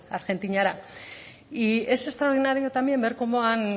argentinara y es extraordinario también ver cómo han